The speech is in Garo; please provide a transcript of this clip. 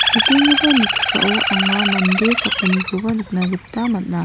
nikenggipa noksao anga mande sakgnikoba nikna gita man·a.